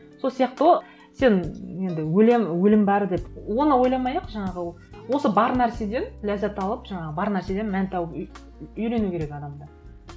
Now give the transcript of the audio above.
сол сияқты ғой сен енді өлемін өлім бар деп оны ойламай ақ жаңағы осы бар нәрседен ләззат алып жаңағы бар нәрседен мән тауып үйрену керек адам да